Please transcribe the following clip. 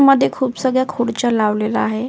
मध्ये खूप सगळ्या खुर्च्या लावलेला आहे.